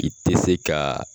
I te se ka